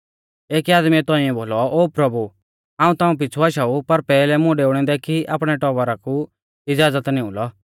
एकी आदमीऐ तौंइऐ बोलौ ओ प्रभु हाऊं ताऊं पिछ़ु आशाऊ पर पैहलै मुं डेऊणै दै कि आपणै टौबरा कु इज़ाज़त निऊं लौ